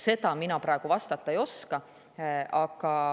Sellele mina praegu vastata ei oska.